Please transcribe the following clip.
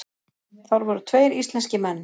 Þar voru tveir íslenskir menn.